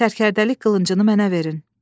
Sərkərdəlik qılıncını mənə verin.